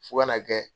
Fo ka na kɛ